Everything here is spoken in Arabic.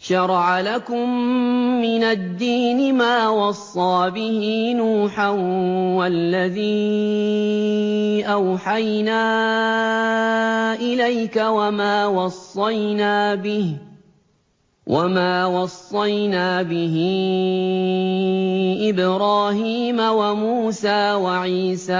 ۞ شَرَعَ لَكُم مِّنَ الدِّينِ مَا وَصَّىٰ بِهِ نُوحًا وَالَّذِي أَوْحَيْنَا إِلَيْكَ وَمَا وَصَّيْنَا بِهِ إِبْرَاهِيمَ وَمُوسَىٰ وَعِيسَىٰ ۖ